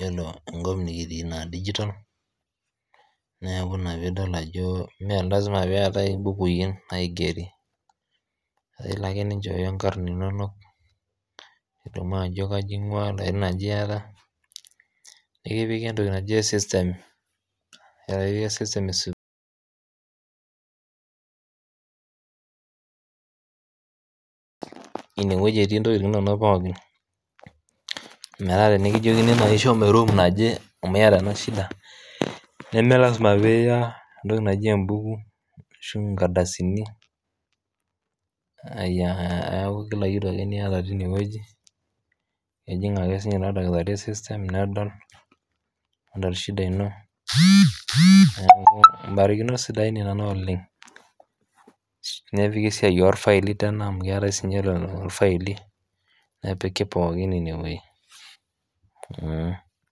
iyolo enkop nikitii naa ene digital neaku naa piidol ajoo naa elasima peatae embukui naigeri naa ilo ake ninchooyo inkarn inono nidumu ajo kaji ikoto inkarn aja iata nikipiki entoki najii system ineweji etii ntokitin inono pookin metaa tinikijokini naa shomo eruum naje amu ieta ena shida nemee lasima piiya entoki najii embuku ashuu inkardasini aaku kila kitu ake nieta teineweji ejinmg' sii ninye ordakitari osesen nedol nedol shida ino mbarikinot sidain nena oleng, nepiki esiaii orfaili amu keatae sii ninye orfaili, nepiki pookin ineweji.